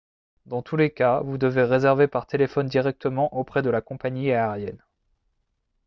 dans tous les cas vous devez réserver par téléphone directement auprès de la compagnie aérienne